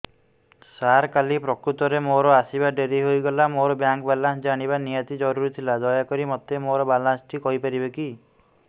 ସାର କାଲି ପ୍ରକୃତରେ ମୋର ଆସିବା ଡେରି ହେଇଗଲା ମୋର ବ୍ୟାଙ୍କ ବାଲାନ୍ସ ଜାଣିବା ନିହାତି ଜରୁରୀ ଥିଲା ଦୟାକରି ମୋତେ ମୋର ବାଲାନ୍ସ ଟି କହିପାରିବେକି